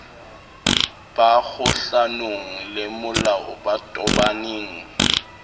ba kgohlanong lemolao ba tobaneng